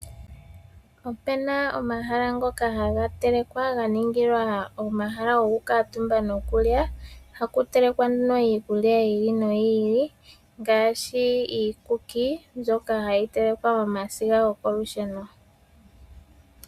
Opu na omahala ngoka haga telekwa ga ningilwa omahala gokukaatumba nokulya, haku telekwa nduno iikulya yi ili noyi ili ngaashi iikuki mbyoka hayi telekwa momasiga gokolusheno.